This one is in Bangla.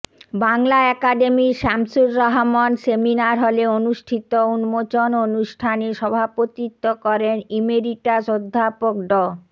বাংলা একাডেমির শামসুর রাহমান সেমিনার হলে অনুষ্ঠিত উন্মোচন অনুষ্ঠানে সভাপতিত্ব করেন ইমেরিটাস অধ্যাপক ড